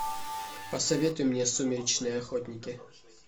посоветуй мне сумеречные охотники